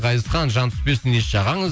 ғазизхан жан түспесін еш жағаңыз